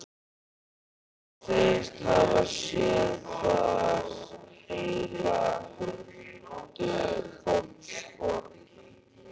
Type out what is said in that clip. Hún segist hafa séð þar heila huldufólksborg.